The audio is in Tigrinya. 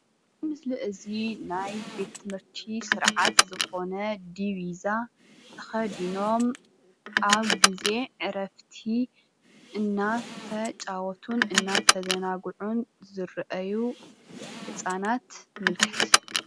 እዚ ምስሊ ናይ ቤት/ቲ ስርዓት ዝኾነ ዲቪዛ ተኸዲኖም ኣብ ጊዜ ዕረፍቲ እናተፃወቱን እናተዘናግዑን ዝረአዩ ህፃናት የመልክት፡፡